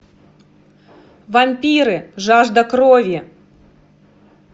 вампиры жажда крови